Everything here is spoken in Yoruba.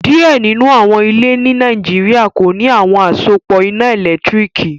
Diẹ ninu awọn ilẹ̀ ní Nàìjíríà kò ní awọn asòpọ iná èlẹ́tiríkì